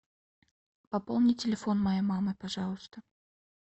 пополни телефон моей мамы пожалуйста